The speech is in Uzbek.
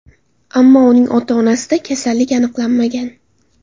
Ammo uning ota-onasida kasallik aniqlanmagan.